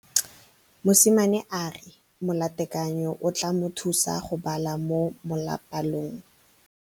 Mosimane a re molatekanyô o tla mo thusa go bala mo molapalong.